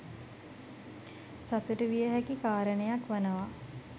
සතුටු විය හැකි කාරණයක් වනවා